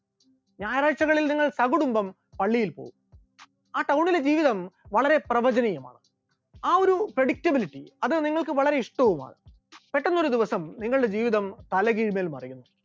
ഞായറാഴ്ചകളിൽ നിങ്ങൾ സകുടുംബം പള്ളിയിൽ പോകുന്നു, ആ town ലെ ജീവിതവും വളരെ പ്രവചനീയമാണ്, ആ ഒരു predictability അത് നിങ്ങൾക്ക് വളരെ ഇഷ്ടവുമാണ്, പെട്ടെന്നൊരു ദിവസം നിങ്ങളുടെ ജീവിതം തലകീഴ്മേൽ മറിയുന്നു,